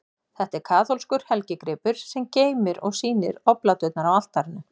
Þetta er kaþólskur helgigripur, sem geymir og sýnir obláturnar á altarinu.